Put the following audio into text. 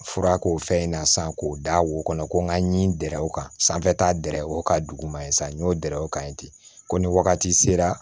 Fura k'o fɛn in na sisan k'o da wo kɔnɔ ko n ka ɲi gɛrɛ o kan sanfɛ t'a dɛrɛ o ka duguma ye sa n y'o dɛrɛ o kan yen ten ko ni wagati sera